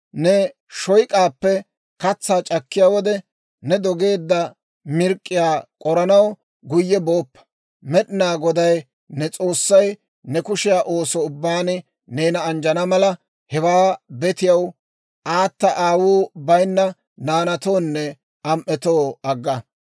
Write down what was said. «Ne shoyk'aappe katsaa c'akkiyaa wode, ne dogeedda mirk'k'iyaa k'oranaw guyye booppa. Med'inaa Goday ne S'oossay ne kushiyaa ooso ubbaan neena anjjana mala, hewaa betiyaw, aata aawuu bayinna naanatoonne am"etoo agga.